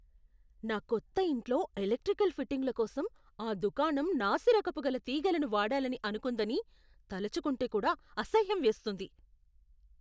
నా కొత్త ఇంట్లో ఎలెక్ట్రికల్ ఫిట్టింగుల కోసం ఆ దుకాణం నాసిరకపు గల తీగలను వాడాలని అనుకుందని తలుచుకుంటే కూడా అసహ్యమేస్తుంది.